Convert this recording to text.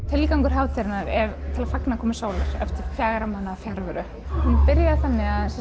tilgangur hátíðarinnar er að fagna komu sólar eftir fjögurra mánaða fjarveru hún byrjaði þannig að